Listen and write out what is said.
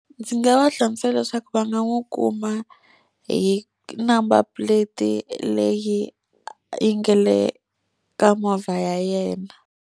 Ndzi nga va hlamusela leswaku va nga n'wi kuma hi number plate leyi yi nga le ka movha ya yena.